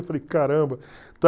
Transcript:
Eu falei, caramba